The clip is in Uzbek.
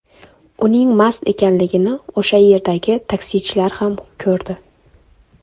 Uning mast ekanligini o‘sha yerdagi taksichilar ham ko‘rdi.